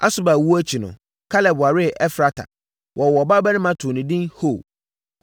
Asuba owuo akyi no, Kaleb waree Efrata. Wɔwoo ɔbabarima too no edin Hur.